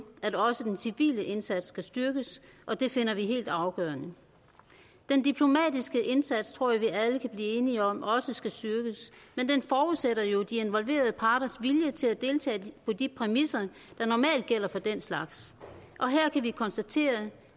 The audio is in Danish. at også den civile indsats skal styrkes og det finder vi helt afgørende den diplomatiske indsats tror jeg at vi alle kan blive enige om også skal styrkes men den forudsætter jo de involverede parters vilje til at deltage på de præmisser der normalt gælder for den slags og her kan vi konstatere